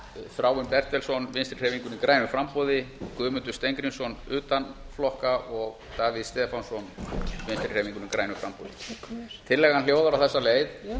þráinn bertelsson vinstri hreyfingunni grænu framboði guðmundur steingrímsson utan flokka og davíð stefánsson vinstri hreyfingunni grænu framboði tillagan hljóðar á þessa leið